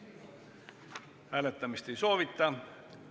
Hääletamist ei soovita.